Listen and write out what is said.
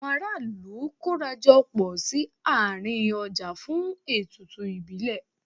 Àwọn ará ìlú kóra jọ pọ̀ sí àárín ọjà fún ètùtù ìbílẹ̀.